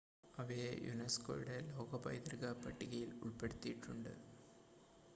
അവയെ യുനെസ്കോയുടെ ലോക പൈതൃക പട്ടികയിൽ ഉൾപ്പെടുത്തിയിട്ടുണ്ട്